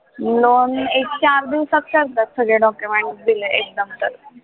loan एक चार दिवसात करतात सगळे document दिले एकदम तर